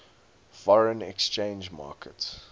foreign exchange market